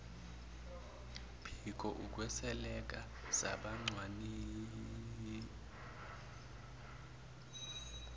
phiko ukwesweleka sabacwaningimabhuku